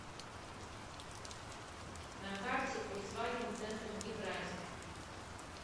на карте фольксваген центр евразия